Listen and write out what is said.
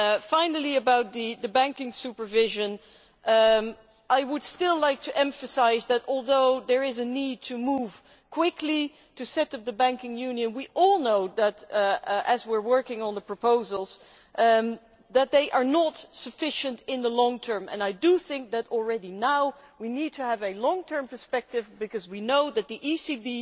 Finally about banking supervision I would still like to emphasise that although there is a need to move quickly to set up the banking union, we all know, as we are working on the proposals, that they are not sufficient in the long term. I think that we need, now already, to have a long term perspective, because we know that the ECB